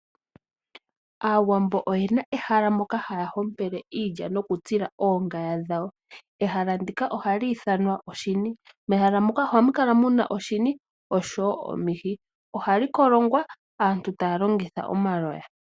Aawambo oyena ehala moka haya hompele iilya noku tsila oongaya dhawo. Ehala ndika ohali ithanwa oshini . Mehala muka oha mu kala muna oshini oshowo omihi ohali kolongwa aantu taya longitha omaloya.